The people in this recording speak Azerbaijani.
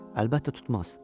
Əlbəttə tutmaz.